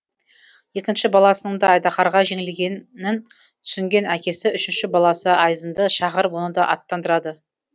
екінші баласының да айдаһарға жеңілгенін түсінген әкесі үшінші баласы айзынды шақырып оны да аттандырады